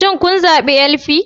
Shin kun zabi LP?